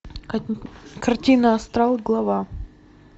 картина астрал глава